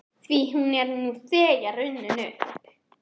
Því hún er nú þegar runnin upp.